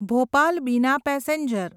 Bhopal Bina passenger